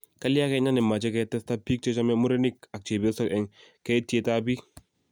Kalya kenya nemache ketesta bik chechame murenik ak chebiosok eng keitiet ab bik